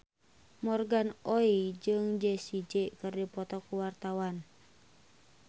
Morgan Oey jeung Jessie J keur dipoto ku wartawan